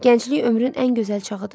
Gənclik ömrün ən gözəl çağıdır.